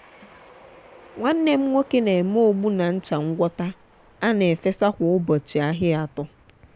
nwanne m nwoke na-eme ogbu na ncha ngwọta a na efesa kwa ụbọchị ahia atọ.